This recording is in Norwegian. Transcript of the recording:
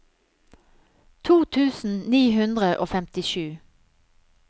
to tusen ni hundre og femtisju